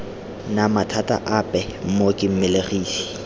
na mathata ape mmoki mmelegisi